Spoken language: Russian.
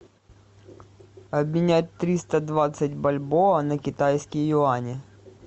обменять триста двадцать бальбоа на китайские юани